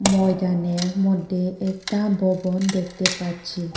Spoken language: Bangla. ময়দানের মধ্যে একটা ভবন দেখতে পাচ্ছি।